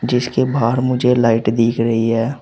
जिसके बाहर मुझे लाइट दिख रही है।